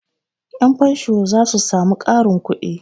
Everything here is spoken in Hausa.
Yanfansho za su sami ƙarin kudi.